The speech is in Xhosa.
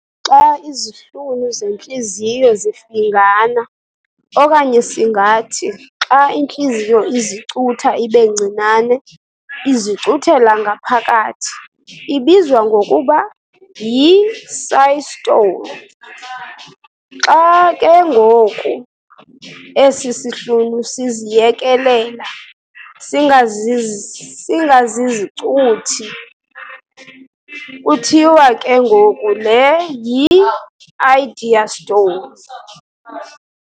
Xa izihlunu zentliziyo zifingana okanye singathi xa intliziyo izicutha ibencinane izicuthela ngaphakathi, ibizwa ngokuba "yisystole". Xa ke ngoku esi sihlunu siziyekelela singazizicuthi, kuthiwa ke ngoku le "yidiastole".